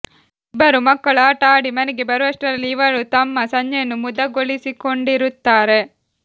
ಇಬ್ಬರು ಮಕ್ಕಳು ಆಟ ಆಡಿ ಮನೆಗೆ ಬರುಷ್ಟರಲ್ಲಿ ಇವರು ತಮ್ಮ ಸಂಜೆಯನ್ನು ಮುದಗೊಳಿಸಿಕೊಂಡಿರುತ್ತಾರೆ